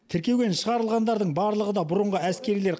тіркеуден шығарылғандардың барлығы да бұрынғы әскерилер